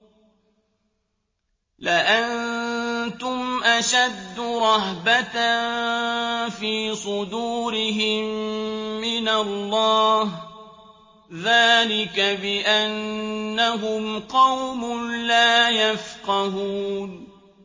لَأَنتُمْ أَشَدُّ رَهْبَةً فِي صُدُورِهِم مِّنَ اللَّهِ ۚ ذَٰلِكَ بِأَنَّهُمْ قَوْمٌ لَّا يَفْقَهُونَ